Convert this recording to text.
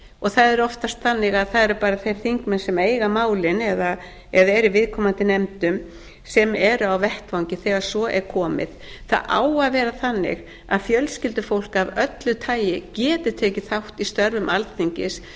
það er oftast þannig að það eru bara þeir þingmenn sem eiga málin eða eru í viðkomandi nefndum sem eru á vettvangi þegar svo er komið það á að vera þannig að fjölskyldufólk af öllu tagi geti tekið þátt í störfum alþingis